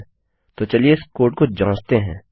ठीक हैतो चलिए इस कोड को जाँचते हैं